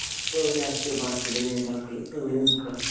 രാഷ്ട്രീയ പാർട്ടിയുടെ നേതാക്കള് അങ്ങനെ നിക്കുവാന്ന്